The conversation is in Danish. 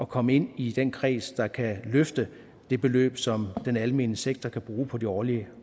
komme ind i den kreds der kan løfte det beløb som den almene sektor kan bruge på de årlige